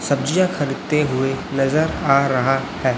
सब्जियाँ खरीदते हुए नजर आ रहा हैं।